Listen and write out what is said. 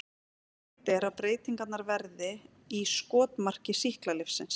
Algengt er að breytingarnar verði í skotmarki sýklalyfsins.